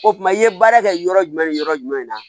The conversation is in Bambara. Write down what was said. O tuma i ye baara kɛ yɔrɔ jumɛn ni yɔrɔ jumɛn na